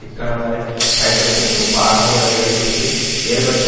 இக்கணம்வரை பயன்படுத்தப்படும் பாரம்பரிய வகைகளில் இருந்து வேறுபட்ட